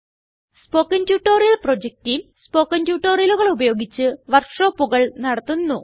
spoken tutorial project team spoken ട്യൂട്ടോറിയലുകൾ ഉപയോഗിച്ച് വർക്ക് ഷോപ്പുകൾ നടത്തുന്നു